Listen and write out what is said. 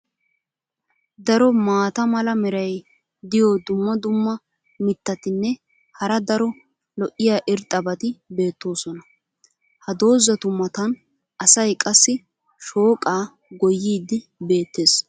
Daro maata mala meray diyo dumma dumma mitatinne hara daro lo'iya irxxabati beetoosona. ha dozzatu matan asay qassi shooqaa goyiidi beetees.